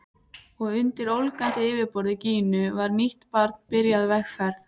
Og undir ólgandi yfirborði Gínu var nýtt barn byrjað vegferð.